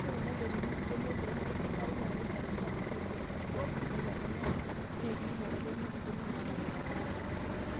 Ore tenedotuni mbenek peemeiding'ayu naa keisaidia metinying'a enkijape sidai atua rnyanya neret sii metodoli nkukuni naanapita irnyanya.